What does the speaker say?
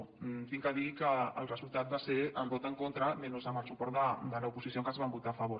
haig de dir que el resultat va ser el vot en contra menys el suport de l’oposició que ens va votar a favor